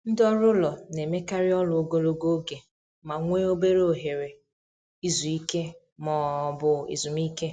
Ndị ọrụ ụlọ na-emekarị ọrụ ogologo oge ma nwee obere ohere izu ike ma ọ bụ ezumike.